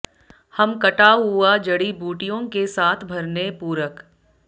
हम कटा हुआ जड़ी बूटियों के साथ भरने पूरक